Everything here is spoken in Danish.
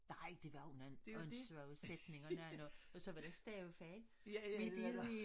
Nej det var underligt og en svære sætninger og når og så var der stavefejl midt inde i